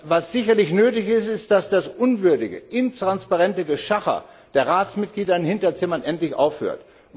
Was sicherlich nötig ist, ist, dass das unwürdige, intransparente Geschacher der Ratsmitglieder in Hinterzimmern endlich aufhört.